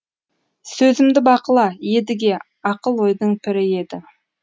сөзімді бақыла едіге ақыл ойдың пірі едің